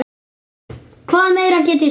Hvað meira get ég sagt?